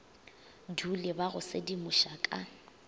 dule ba go sedimoša ka